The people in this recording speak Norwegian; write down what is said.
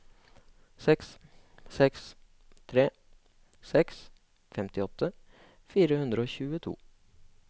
seks seks tre seks femtiåtte fire hundre og tjueto